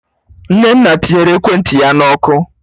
Nnenna tinyere ekwentị ya na ọkụ